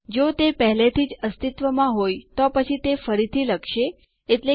મેં અહીં પહેલેથી જ ટર્મિનલ ખોલ્યું છે